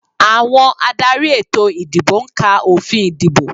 Àwọn adarí ètò ìdìbò ń ka òfin ìdìbò